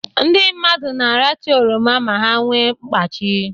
Ndị mmadụ na-aracha oroma ma ha nwe mkpachi